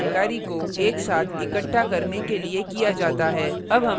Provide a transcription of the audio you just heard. इसका उपयोग संबंधित जानकारी को एक साथ इकट्ठा करने के लिए किया जाता है